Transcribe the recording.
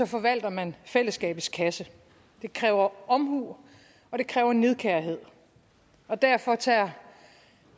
forvalter man fællesskabets kasse det kræver omhu og det kræver nidkærhed og derfor ser